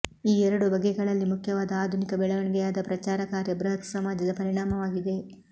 ಈ ಎರಡೂ ಬಗೆಗಳಲ್ಲಿ ಮುಖ್ಯವಾದ ಆಧುನಿಕ ಬೆಳವಣಿಗೆಯಾದ ಪ್ರಚಾರ ಕಾರ್ಯ ಬೃಹತ್ ಸಮಾಜದ ಪರಿಣಾಮವಾಗಿದೆ